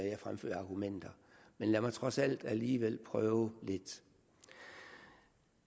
jeg fremfører af argumenter men lad mig trods alt alligevel prøve lidt